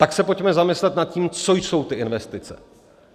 Tak se pojďme zamyslet nad tím, co jsou ty investice.